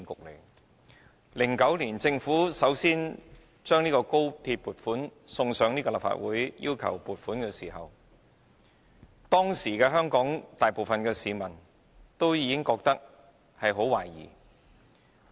在2009年，政府首次就高鐵項目向立法會提交撥款申請，當時香港大部分市民均感懷疑。